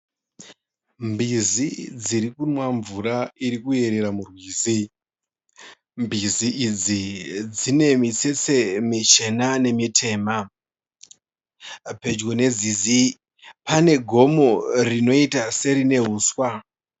Mbizi dziri kunwa mvura iri kuyerera murwizi. Mbizi idzi dzine mitsetse michena nemitema. Pedyo nenzizi pane gomo rinoita serine huswa.